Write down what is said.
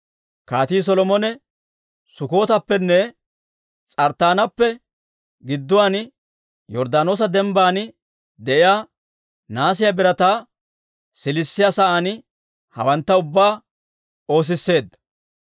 Kaatii Solomone Sukkootappenne S'arttaanappe gidduwaan, Yorddaanoosa dembban de'iyaa, nahaasiyaa birataa siilissiyaa sa'aan hawantta ubbaa oosisseedda.